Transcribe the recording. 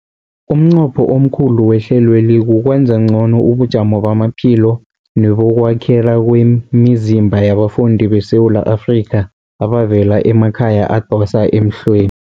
Umnqopho omkhulu wehlelweli kukwenza ngcono ubujamo bamaphilo nebokwakhela kwemizimba yabafundi beSewula Afrika abavela emakhaya adosa emhlweni.